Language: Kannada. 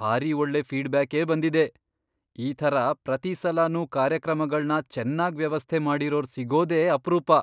ಭಾರಿ ಒಳ್ಳೆ ಫೀಡ್ಬ್ಯಾಕೇ ಬಂದಿದೆ. ಈ ಥರ ಪ್ರತೀ ಸಲನೂ ಕಾರ್ಯಕ್ರಮಗಳ್ನ ಚೆನ್ನಾಗ್ ವ್ಯವಸ್ಥೆ ಮಾಡಿರೋರ್ ಸಿಗೋದೇ ಅಪ್ರೂಪ.